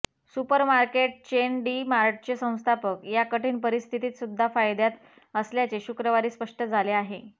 supermarket chain D मार्टचे संस्थापक या कठीण परिस्थितीत सुद्धा फायद्यात असल्याचे शुक्रवारी स्पष्ट झाले आहे